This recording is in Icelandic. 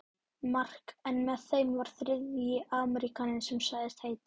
Mark en með þeim var þriðji Ameríkaninn sem sagðist heita